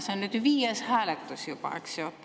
See on nüüd juba viies hääletus, eks ju.